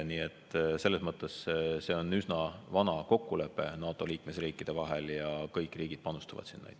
Nii et selles mõttes on see üsna vana kokkuleppe NATO liikmesriikide vahel ja kõik riigid panustavad sinna.